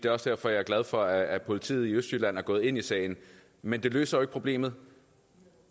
er også derfor jeg er glad for at politiet i østjylland er gået ind i sagen men det løser jo ikke problemet